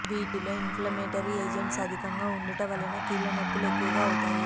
వీటిలో inflammatory agents అధికంగా ఉండుట వలన కీళ్ల నొప్పులు ఎక్కువ అవుతాయి